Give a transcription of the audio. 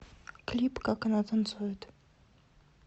клип как она танцует